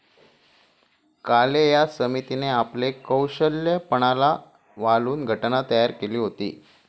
काले या समितीने आपले कौशल्य पणाला वालून घटना तयार केली होती.